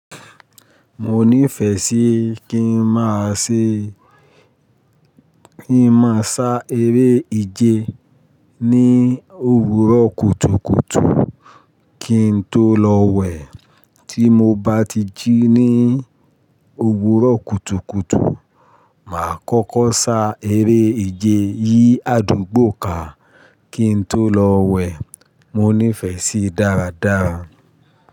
Mo nífẹ́ sí kí n máa ṣe kí n máa ṣá eré ìje ní òwúrọ̀ kùtùkùtù kí n tó lọ wẹ̀. Tí mo bá ti jí ní òwúrọ̀ kùtùkùtù, màá kọ́kọ́ ṣá eré ìje yìí àdúgbò ká kí n tó lọ wẹ̀. Mo ní ìfẹ́ sí dáradára.